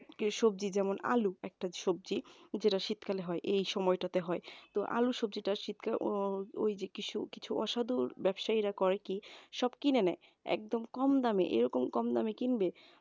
সবজি যেমন আলু একটা সবজি যেটা শীতকালে হয় এই সময়টাতে হয় তো আলু সবজিটি অ্যাঁ কিছু কিছু অসাধু ব্যবসায়ীরা করে কি সব কিনে নেয় একদম কম দামে এরকম কম দামে কিনবে